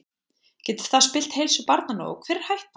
Getur það spillt heilsu barnanna og hver er hættan?